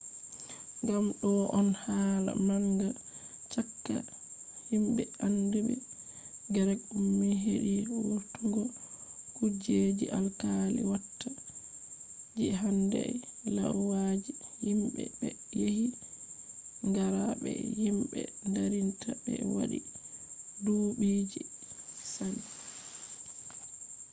gam do on hala manga chaka himbe andiibe greek ummi hedi vurtungo kujeji alkali watta je handai lauyaji himbe be yari qara be himbe darinta be wadi duubiji je sali